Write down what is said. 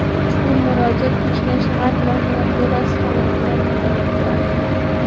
Ushbu murojaat Toshkent shahar prokuraturasi tomonidan nazoratga olindi.